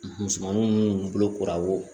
Musomanin minnu bolokoraw